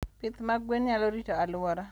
Pith mag gwen nyalo rito alwora